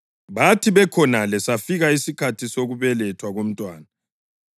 Bathi bekhonale safika isikhathi sokubelethwa komntwana,